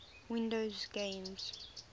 windows games